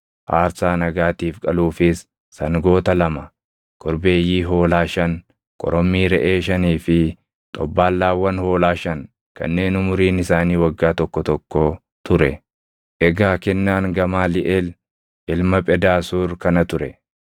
aarsaa nagaatiif qaluufis sangoota lama, korbeeyyii hoolaa shan, korommii reʼee shanii fi xobbaallaawwan hoolaa shan kanneen umuriin isaanii waggaa tokko tokkoo ture. Egaa kennaan Gamaaliʼeel ilma Phedaasuur kana ture.